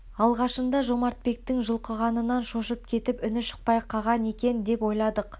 алғашында ол жомартбектің жұлқылағанынан шошып кетіп үні шықпай қаған екен деп ойладық